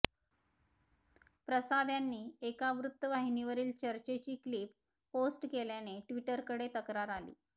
प्रसाद यांनी एका वृत्तवाहिनीवरील चर्चेची क्लिप पोस्ट केल्याने ट्वीटरकडे तक्रार आली